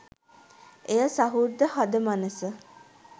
එය සහෘද හද මනස